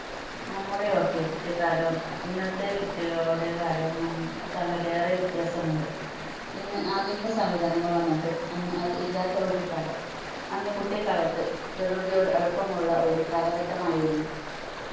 നമ്മുടെ ഒക്കെ കുട്ടിക്കാലവും ഇന്നത്തെ കുട്ടികളുടെ കാലവും നം തമ്മിൽ ഏറെ വ്യത്യാസം ഉണ്ട് ഇന്ന് ആധുനിക സംവിധാനങ്ങൾ വന്നപ്പോൾ അന്ന് അത് ഇല്ലാത്ത ഒരു കാലം അന്ന് കുട്ടിക്കാലത്തു പ്രകൃതിയോട് അടുപ്പം ഉള്ള ഒരു കാലഘട്ടം ആയിരുന്നു